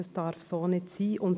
Das darf nicht so sein!